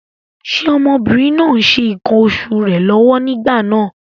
Ṣé ọmọbìnrin náà ń ṣe ǹkan oṣù rẹ̀ lọ́wọ́ nígbà náà?